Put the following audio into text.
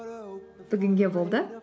бүгінге болды